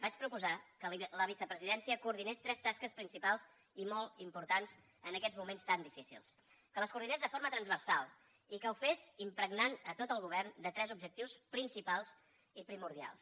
vaig proposar que la vicepresidència coordinés tres tasques principals i molt importants en aquests moments tan difícils que les coordinés de forma transversal i que ho fes impregnant tot el govern de tres objectius principals i primordials